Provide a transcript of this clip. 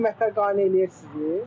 Bu ilki qiymətlər qane eləyir sizi?